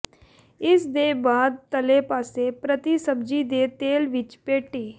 ਇਸ ਦੇ ਬਾਅਦ ਤਲੇ ਪਾਸੇ ਪ੍ਰਤੀ ਸਬਜ਼ੀ ਦੇ ਤੇਲ ਵਿੱਚ ਪੈਟੀ